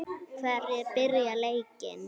Hverjir byrja leikinn?